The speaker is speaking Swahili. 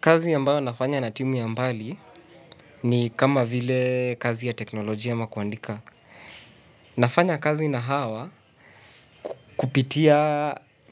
Kazi ambayo nafanya na timu ya mbali ni kama vile kazi ya teknolojia ama kuandika. Nafanya kazi na hawa